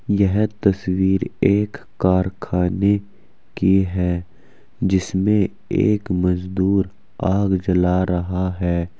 यह तस्वीर एक कारखाने की है जिसमें एक मजदूर आग जला रहा है।